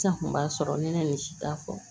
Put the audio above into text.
San kun b'a sɔrɔ n ye nin si ta fɔ